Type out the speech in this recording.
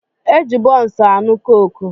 E ji bunsu aṅụ koke